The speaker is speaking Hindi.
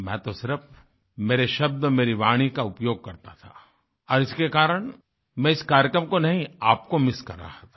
मैं तो सिर्फ मेरे शब्द मेरी वाणी का उपयोग करता था और इसके कारण मैं इस कार्यक्रम को नहीं आपको मिस कर रहा था